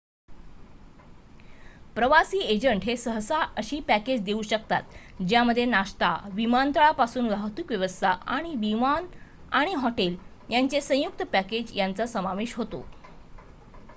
प्रवासी एजंट हे सहसा अशी पॅकेज देऊ करतात ज्यामध्ये नाश्ता विमानतळापासून वाहतूक व्यवस्था आणि विमान आणि हॉटेल यांचे संयुक्त पॅकेज यांचा समावेश होतो